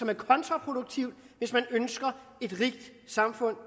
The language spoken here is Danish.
er kontraproduktivt hvis man ønsker et rigt samfund